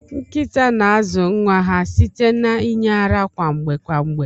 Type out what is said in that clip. Nkita na azu nwa ha site na inye ara kwa mgbe kwa mgbe.